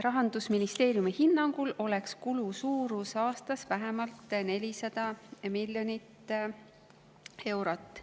Rahandusministeeriumi hinnangul oleks kulu suurus aastas vähemalt 400 miljonit eurot.